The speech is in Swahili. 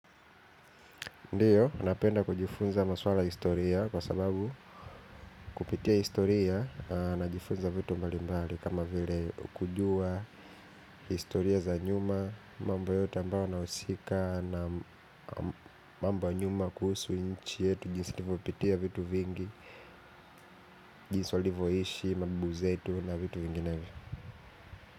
Ndiyo, napenda kujifunza maswala historia kwa sababu kupitia historia najifunza vitu mbali mbali kama vile kujua, historia za nyuma, mamba yote ambao anausika na mambo ya nyuma kuhusu inchi yetu, jinsi tuvopitia vitu vingi, jinsi walivoishi mababu wetu na vitu vinginevyo.